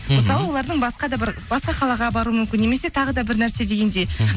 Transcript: мысалы олардың басқа да бір басқа қалаға баруы мүмкін немесе тағы да бір нәрсе дегендей мхм